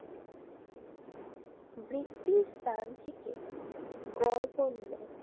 বৃত্তিস স্থান থেকে গড় পণ্য